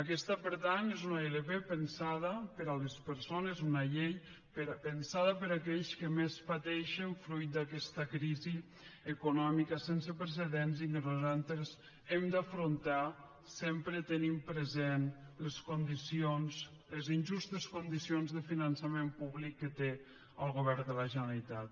aquesta per tant és una ilp pensada per a les persones una llei pensada per a aquells que més pateixen fruit d’aquesta crisi econòmica sense precedents i que nosaltres hem afrontar sempre tenint present les condicions les injustes condicions de finançament públic que té el govern de la generalitat